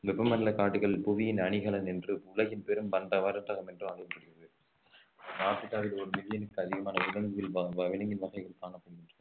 வெப்பமண்டல காடுகள் புவியின் அணிகலன் என்று உலகின் பெரும் பந்த வர்த்தகம் என்றும் அழைக்கப்படுகிறது ஆப்ரிக்காவில் ஒரு மில்லியனும் அதிகமான விலங்குகள் வ~ வ~ விலங்கின் வகைகள் காணப்படுகின்றன